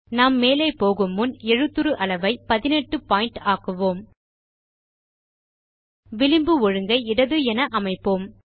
நாம் மேலே போகு முன் எழுத்துரு அளவை 18 பாயிண்ட் ஆக்குவோம் விளிம்பு ஒழுங்கை இடது என அமைப்போம்